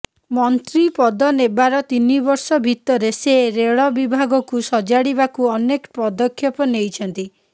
ମନ୍ତ୍ରୀପଦ ନେବାର ତିନି ବର୍ଷ ଭିତରେ ସେ ରେଳ ବିଭାଗକୁ ସଜାଡିବାକୁ ଅନେକ ପଦକ୍ଷେପ ନେଇଛନ୍ତି